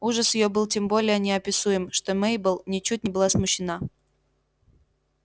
ужас её был тем более неописуем что мейбелл ничуть не была смущена